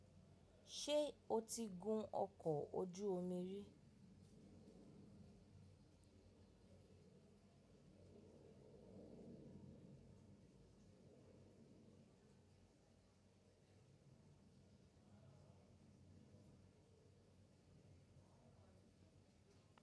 Ṣé o ti gùn ọkọ̀ ojú omi rí?